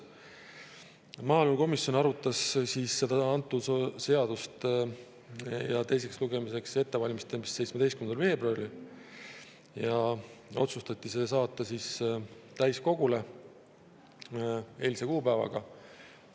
Maaelukomisjon arutas seda seadust teiseks lugemiseks ettevalmistamisel 17. veebruaril ja otsustas saata selle täiskogule eilse kuupäevaga.